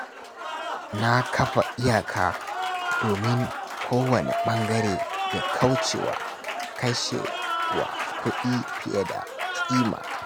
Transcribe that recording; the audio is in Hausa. Na kafa iyaka domin kowanne ɓangare ya kauce wa kashe wa kashe kuɗi fiye da kima.